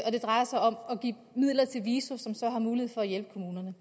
det drejer sig om at give midler til viso som så har mulighed for at hjælpe kommunerne